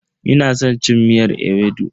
Ina san cin miyar ewedu.